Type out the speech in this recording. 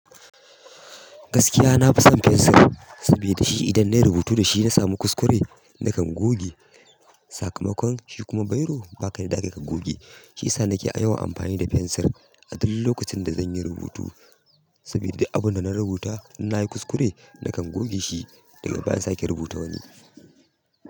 Gaskiya nafison fensir, sabida shi idan nayi rubutu dashi nasamu kuskure nakan goge sakamakon shikuma bairo babu yadda zakayi ka goge. Shiyasa nake a yawan amfani da fensir a duk lokacin da zanyi rubutu, saboda abunda na rubuta in nayi kuskure nakan goge shi daga bayan in sake rubuta wani.